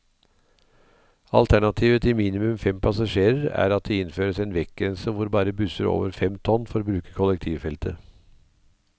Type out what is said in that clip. Alternativet til minimum fem passasjerer er at det innføres en vektgrense hvor bare busser over fem tonn får bruke kollektivfeltet.